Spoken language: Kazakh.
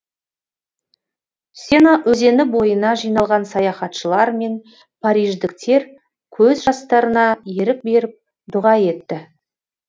сена өзені бойына жиналған саяхатшылар мен париждіктер көз жастарына ерік беріп дұға етті